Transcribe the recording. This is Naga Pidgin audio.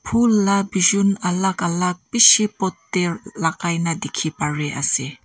Phul laga bijun alak alak beshi pot tey lagai na dekhi pari ase.